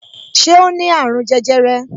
Ṣé o ní àrùn jẹjẹrẹ